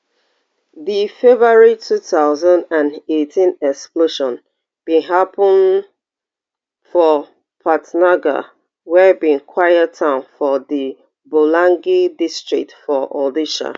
di february two thousand and eighteen explosion bin happun for patnagarh wey be quiet town for di bolangir district for odisha